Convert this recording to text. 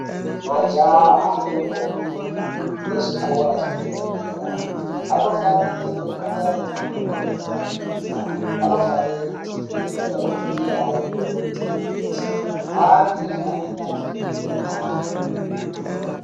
Majaha nendombi ezvikora zvedera-dera anofanirwe kunge ane ndxondo dzakapinza. Anofanire kuterere muraidziri yayo kuitire kuti anzwe zvaanenge achireketa.